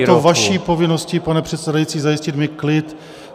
Je to vaší povinností, pane předsedající, zajistit mi klid.